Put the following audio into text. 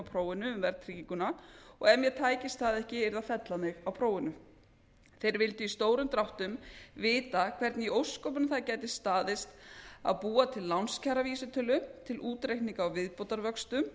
á prófinu og ef mér tækist það ekki yrði að fella mig á prófinu þeir vildu í stórum dráttum vita hvernig í ósköpunum það gæti staðist að búa til lánskjaravísitölu til útreikninga á